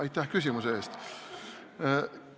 Aga aitäh küsimuse eest!